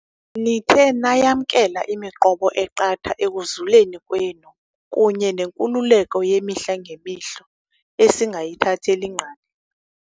Nithe nayamkela imiqobo eqatha ekuzuleni kwenu kunye nenkululeko yemihla ngemihla esingayithatheli ngqalelo.